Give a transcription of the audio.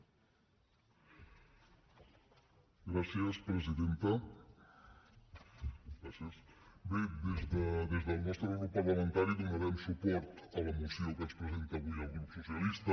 bé des del nostre grup parlamentari donarem suport a la moció que ens presenta avui el grup socialista